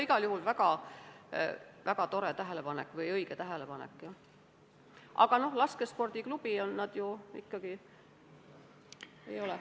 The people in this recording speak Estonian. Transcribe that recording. Igal juhul väga tore või õige tähelepanek, aga laskespordiklubis nad ju ikkagi arvel ei ole.